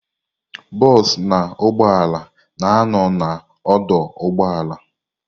Bosu na ụgbọala na ano na odoo ụgbọala.